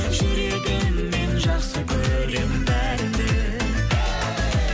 жүрегіммен жақсы көрем бәріңді